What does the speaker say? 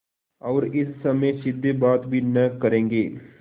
और इस समय सीधे बात भी न करेंगे